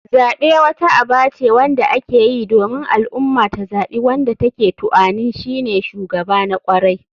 Zaɓe wata aba ce wanda akeyi domin al ummah ta zaɓi wanda take tuanin shine shugaba na kwarai.